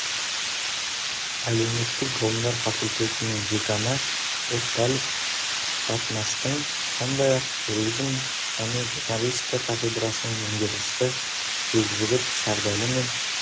әлеуметтік ғылымдар факультетінің деканы эфтал батмастың сондай-ақ туризм және журналистика кафедрасының меңгерушісі бекжігіт сердәлі мен